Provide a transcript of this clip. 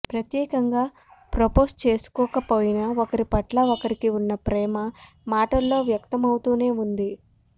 ప్రత్యేకంగా ప్రపోజ్ చేసుకోకపోయినా ఒకరిపట్ల ఒకరికి ఉన్న ప్రేమ మాటల్లో వ్యక్తమవుతూనే ఉంది